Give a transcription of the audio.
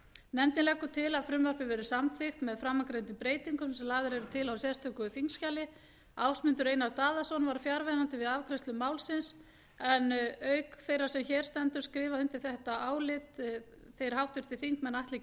nefndin leggur til að frumvarpið verði samþykkt með framangreindum breytingum sem lagðar eru til í sérstöku þingskjali ásmundur einar daðason var fjarverandi við afgreiðslu málsins auk þeirrar sem hér stendur skrifa undir þetta álit þeir háttvirtir þingmenn atli